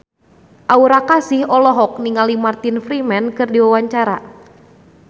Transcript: Aura Kasih olohok ningali Martin Freeman keur diwawancara